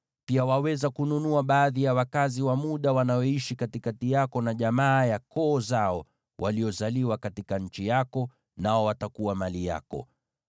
Pia waweza kununua baadhi ya wakazi wa muda wanaoishi katikati yako, na jamaa ya koo zao waliozaliwa katika nchi yako, nao watakuwa mali yako.